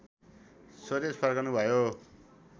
स्वदेश फर्कनुभयो